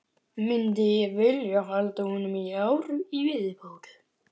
Myndi ég vilja halda honum í ár í viðbót?